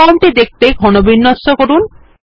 form টি দেখতে ঘনবিন্যস্ত করুন